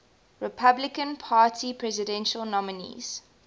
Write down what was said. republican party presidential nominees